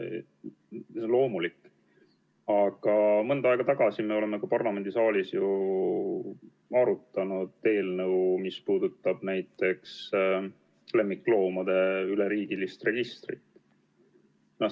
See on loomulik, aga mõni aeg tagasi me arutasime parlamendisaalis eelnõu, mis puudutas lemmikloomade üleriigilist registrit.